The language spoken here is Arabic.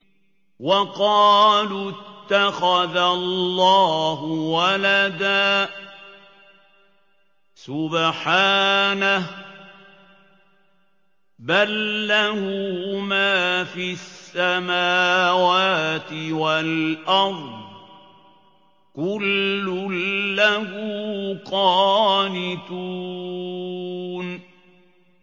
وَقَالُوا اتَّخَذَ اللَّهُ وَلَدًا ۗ سُبْحَانَهُ ۖ بَل لَّهُ مَا فِي السَّمَاوَاتِ وَالْأَرْضِ ۖ كُلٌّ لَّهُ قَانِتُونَ